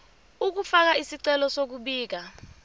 ukufaka isicelo sokubika